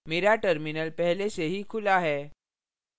मेरा terminal पहले से ही खुला है